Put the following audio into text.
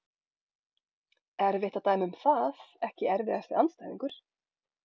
Erfitt að dæma um það Ekki erfiðasti andstæðingur?